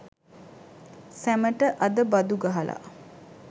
සැමට අද බදු ගහලා